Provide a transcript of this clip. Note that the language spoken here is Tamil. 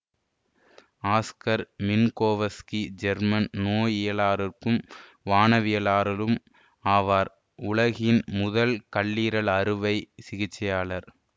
ஆஸ்கர் மின்கோவஸ்கி ஜெர்மன் நோயியலாளரும் வானவியலாளரும் ஆவார் உலகின் முதல் கல்லீரல் அறுவை சிகிச்சையாளர்